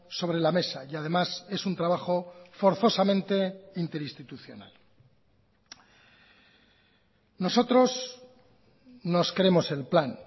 sobre la mesa y además es un trabajo forzosamente interinstitucional nosotros nos creemos el plan